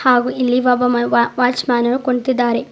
ಹಾಗೂ ಇಲ್ಲಿ ಒಬ್ಬವ ವಾಚ್ ಮ್ಯಾನು ಕುಂತಿದ್ದಾರೆ.